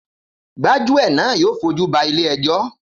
Gbájúẹ̀ náà yóò fojúba ilé ẹjọ́